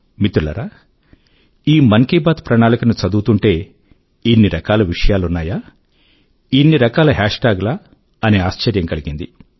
మిత్రులారా ఈ మన్ కీ బాత్ ప్రణాళిక ను చదువుతుంటే ఇన్ని రకాల విషయాలు ఉన్నాయా ఇన్ని రకాల హేష్ ట్యాగ్ లా అని ఆశ్చర్యం కలిగింది